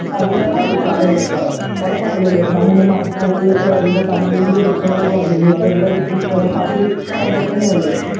ഉറപ്പാണല്ലോ അല്ലെ? ഉറപ്പാണല്ലോയല്ലെ? സാമൂഹ്യ മാധ്യമങ്ങളിലൊക്കെ അതിന്റെ തല്ലിന്റെ ദൃശ്യങ്ങളൊക്കെ വന്നിരുന്നു...അത് എന്തായിരിക്കും? നിങ്ങടെ...പാർട്ടി കൺട്രോളിൽ തന്നെയല്ലേ?